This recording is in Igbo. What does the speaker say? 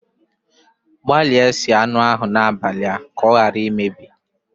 Gbalịa gbanye anụ ahụ n'abalị a ka ọ ghara imebi